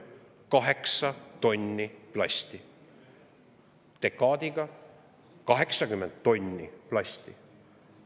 Kaheksa tonni plasti, dekaadiga 80 tonni plasti.